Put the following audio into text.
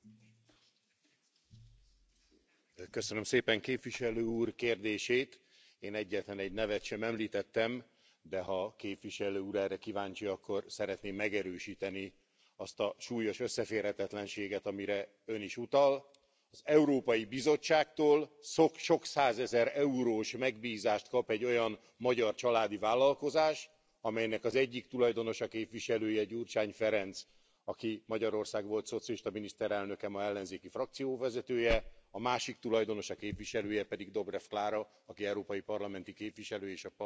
Köszönöm szépen, képviselő úr, a kérdését, én egyetlen egy nevet sem említettem, de ha a képviselő úr erre kíváncsi, akkor szeretném megerősíteni azt a súlyos összeférhetetlenséget, amire Ön is utal. Az Európai Bizottságtól sok százezer eurós megbízást kap egy olyan magyar családi vállalkozás, amelynek az egyik tulajdonosa, képviselője Gyurcsány Ferenc, aki Magyarország volt szocialista miniszterelnöke, ma ellenzéki frakció vezetője, a másik tulajdonosa, képviselője pedig Dobrev Klára, aki európai parlamenti képviselő, és az Európai Parlament egyik alelnöke.